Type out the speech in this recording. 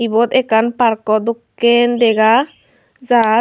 iyot ekkan park o dokken dega jar.